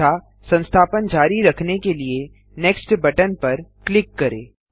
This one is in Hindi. तथा संस्थापन जारी रखने के लिए नेक्स्ट बटन पर क्लिक करें